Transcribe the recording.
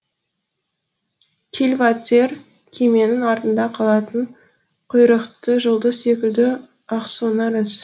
кильватер кеменің артында қалатын құйрықты жұлдыз секілді ақсонар із